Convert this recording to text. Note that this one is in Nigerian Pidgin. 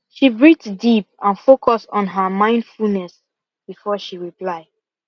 she breathe deep and focus on her mindfulness before she reply